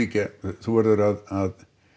þú verður að